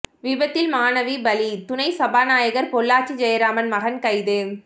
விபத்தில் மாணவி பலி துணை சபாநாயகர் பொள்ளாச்சி ஜெயராமன் மகன் கைது